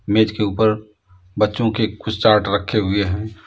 मेज़ के ऊपर बच्चों के कुछ चार्ट रखे हुए हैं।